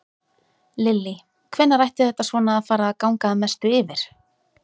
Lillý: Hvenær ætti þetta svona að fara að ganga að mestu yfir?